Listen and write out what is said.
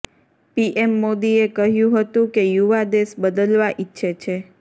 PM મોદીએ કહ્યુ હતુ કે યુવા દેશ બદલવા ઈચ્છે છે